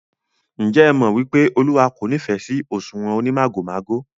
Ǹjẹ́ ẹ mọ̀ wípé Olúwa kò nífẹ̀ sí òṣùwọ̀n onímàgòmágò?